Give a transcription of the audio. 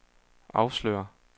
afslører